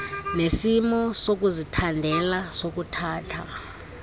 nesimo sokuzithandela sokuthatha